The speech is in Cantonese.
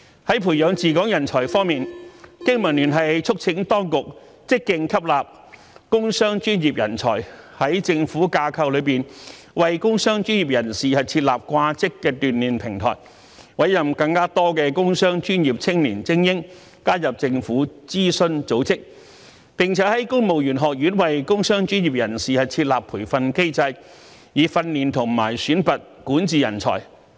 在培養治港人才方面，經民聯促請當局積極吸納工商專業人才，在政府架構內為工商專業人士設立"掛職"鍛鍊平台，委任更多工商專業青年精英加入政府諮詢組織，並在公務員學院為工商專業人士設立培訓機制，以訓練和選拔管治人才。